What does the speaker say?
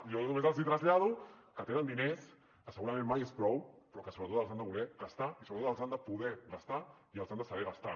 jo només els trasllado que tenen diners que segurament mai és prou però que sobretot els han de voler gastar i sobretot els han de poder gastar i els han de saber gastar